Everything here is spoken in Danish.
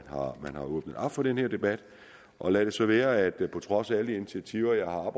har åbnet for den her debat og lad så være at der på trods af alle de initiativer jeg har